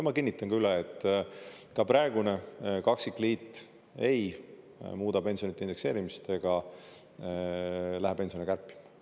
Ma kinnitan üle, et ka praegune kaksikliit ei muuda pensionide indekseerimist ega lähe pensione kärpima.